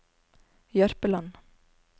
Jørpeland